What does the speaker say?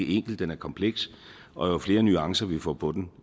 enkel den er kompleks og jo flere nuancer vi får på den